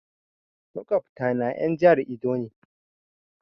Maƙwabta na en jahar Edo ne